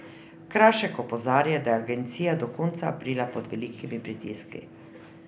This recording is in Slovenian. Krašek opozarja, da je agencija od konca aprila pod velikimi pritiski.